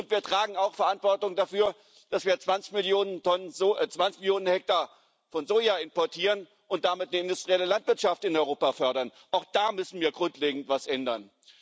Wir tragen auch Verantwortung dafür, dass wir 20 Millionen Hektar von Soja importieren und damit die industrielle Landwirtschaft in Europa fördern. Auch da müssen wir grundlegend etwas ändern.